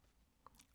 DR K